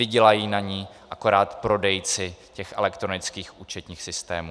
Vydělají na ní akorát prodejci těch elektronických účetních systémů.